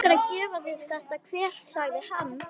Mig langar að gefa þér þetta kver sagði hann.